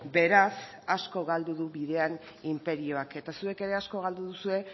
beraz asko galdu du bidean inperioak eta zuek ere asko galdu duzue